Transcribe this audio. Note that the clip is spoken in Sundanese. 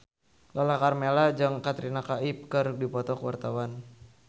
Lala Karmela jeung Katrina Kaif keur dipoto ku wartawan